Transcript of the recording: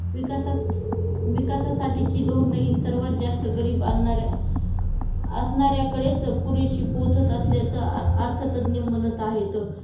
विकासास विकासासाठीची धोरण हि सर्वात जास्त गरिबाणाऱ्या असणाऱ्याकडेच पुरेशी पोहोचत असल्याचा अर्थतज्ज्ञ म्हणत आहेत